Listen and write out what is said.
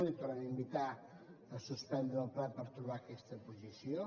el tornem a invitar a suspendre el ple per trobar aquesta posició